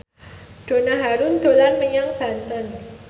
Donna Harun dolan menyang Banten